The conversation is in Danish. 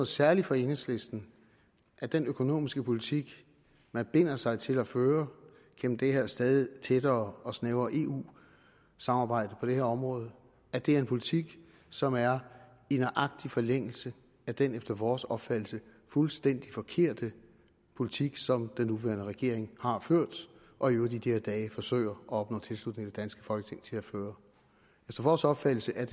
særligt for enhedslisten at den økonomiske politik man binder sig til at føre gennem det her stadig tættere og snævrere eu samarbejde på det her område er en politik som er i nøjagtig forlængelse af den efter vores opfattelse fuldstændig forkerte politik som den nuværende regering har ført og i øvrigt i de her dage søger at opnå tilslutning i det danske folketing til at føre efter vores opfattelse er